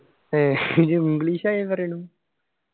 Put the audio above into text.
ഏഹ് ഇയ്യ്‌ english ഈ പറയണു